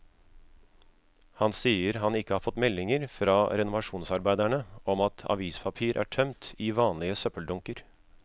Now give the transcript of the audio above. Han sier han ikke har fått meldinger fra renovasjonsarbeiderne om at avispapir er tømt i vanlige søppeldunker.